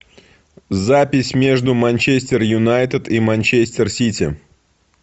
запись между манчестер юнайтед и манчестер сити